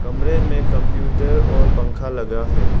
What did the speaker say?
कमरे में कंप्यूटर और पंखा लगा है।